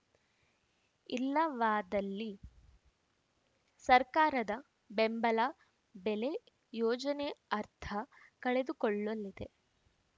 ಇಲ್ಲವಾದಲ್ಲಿ ಸರ್ಕಾರದ ಬೆಂಬಲ ಬೆಲೆ ಯೋಜನೆ ಅರ್ಥ ಕಳೆದುಕೊಳ್ಳಲಿದೆ